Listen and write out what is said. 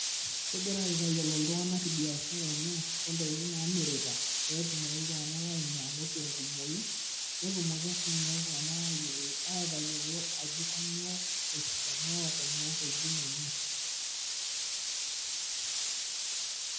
Kigira aitayilou iltung'ana biashara enye,o ntokiting' naamirita pee tumoki iltung'ana ainyang'u te nkumoi netumoki sii iltung'ana atayilou ajo kainyoo esidano o kuna tokiting' enye.